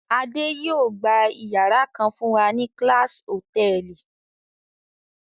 Adé yóò gba ìyàrá kan fún wa ní Class Hòtẹ́ẹ́lì.